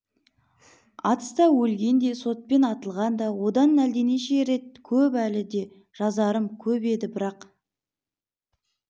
атыста өлген де сотпен атылған да одан әлденеше рет көп әлі де жазарым көп еді бірақ